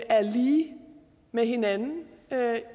er lige med hinanden